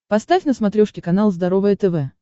поставь на смотрешке канал здоровое тв